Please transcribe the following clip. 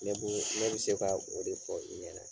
Ne bɛ se ka o de fɔ i ɲɛ na